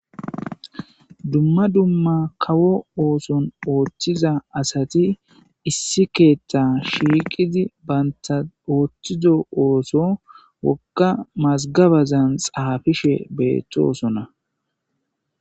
Dumma dumma kawo oththon oththiza asati issi keeththa shiqidi banta ooththo oththizo geduwa woogga mazigabazan xaafishshe bettossonna